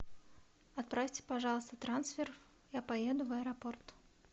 отправьте пожалуйста трансфер я поеду в аэропорт